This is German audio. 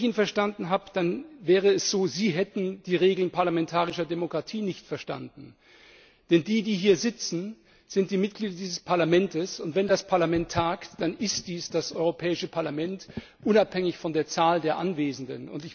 Mir scheint, Sie haben die Regeln parlamentarischer Demokratie nicht verstanden. Denn die, die hier sitzen, sind die Mitglieder dieses Parlamentes, und wenn das Parlament tagt, dann ist dies das Europäische Parlament, unabhängig von der Zahl der Anwesenden.